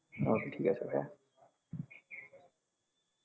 okay ঠিকাছে ভাইয়া